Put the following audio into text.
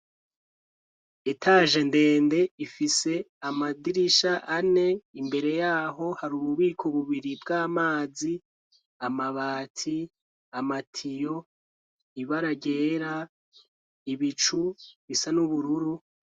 Etaje ndende, ifise amadirisha ane, imbere yaho hari ububiko bubiri bw'amazi, amabati, amatiyo ibara ryera, ibicu bisa n'ubururu.